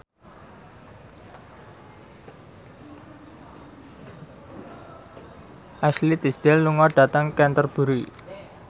Ashley Tisdale lunga dhateng Canterbury